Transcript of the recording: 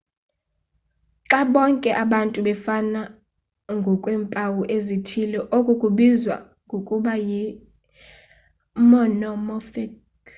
xa bonke abantu befana ngokweempawu ezithile oku kubizwa ngokuba yi-monomorphic